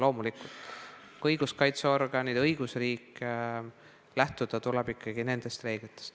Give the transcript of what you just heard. Loomulikult, kui on õiguskaitseorganid ja õigusriik, tuleb lähtuda ikkagi nende reeglitest.